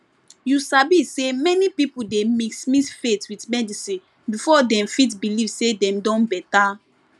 you sabi say many people dey mix mix faith with medicine before dem fit believe say dem don better